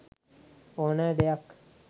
ඕනෑ දෙයක්